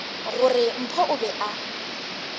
gore mpho o be a